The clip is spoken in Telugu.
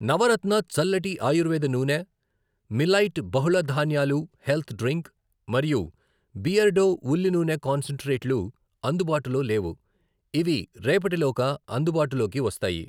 నవరత్న చల్లటి ఆయుర్వేద నూనె, మిలైట్ బహుళధాన్యాలు హెల్త్ డ్రింక్ మరియు బియర్డో ఉల్లి నూనె కాన్సంట్రేట్ లు అందుబాటులో లేవు. ఇవి రేపటి లోగా అందుబాటులోకి వస్తాయి.